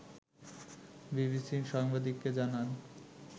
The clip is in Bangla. বিবিসির সাংবাদিককে জানান